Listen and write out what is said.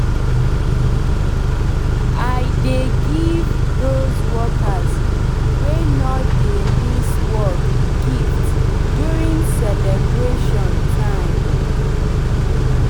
i dey give dos workers wey nor dey miss work gift during celeybration time